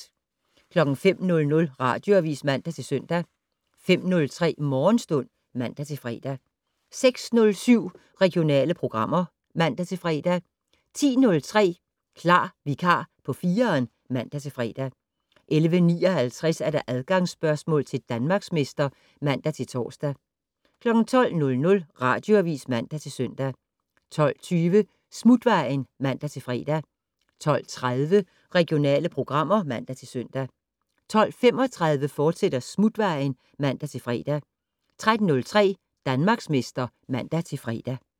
05:00: Radioavis (man-søn) 05:03: Morgenstund (man-fre) 06:07: Regionale programmer (man-fre) 10:03: Klar vikar på 4'eren (man-fre) 11:59: Adgangsspørgsmål til Danmarksmester (man-tor) 12:00: Radioavis (man-søn) 12:20: Smutvejen (man-fre) 12:30: Regionale programmer (man-søn) 12:35: Smutvejen, fortsat (man-fre) 13:03: Danmarksmester (man-fre)